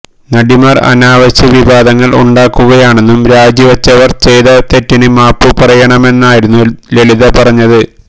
നടിമാർ അനാവശ്യ വിവാദങ്ങൾ ഉണ്ടാക്കുകയാണെന്നും രാജിവച്ചവർ ചെയ്ത തെറ്റിന് മാപ്പു പറയണമെന്നുമായിരുന്നു ലളിത പറഞ്ഞത്